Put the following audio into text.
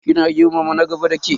Kina girmama na gaba dake?